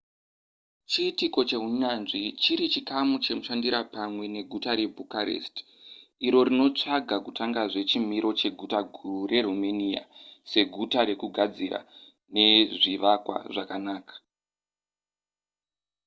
chiitiko chehunyanzvi chiri chikamu chemushandira pamwe neguta rebucharest iro rinotsvaga kutangazve chimiro cheguta guru reromania seguta rekugadzira nezvivakwa zvakanaka